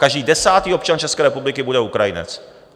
Každý desátý občan České republiky bude Ukrajinec!